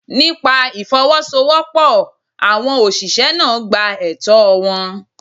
Nípa Ìfowọ́sowọ́pọ̀, àwọn ọ̀ṣìṣẹ́ náà gba ẹtọ́ọ wọn.